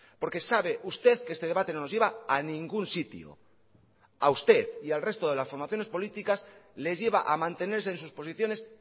porque sabe usted que este debate no nos lleva a ningún sitio a usted y al resto de las formaciones políticas les lleva a mantenerse en sus posiciones